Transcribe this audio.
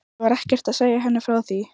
Og hvað gerðu þarlend stjórnvöld?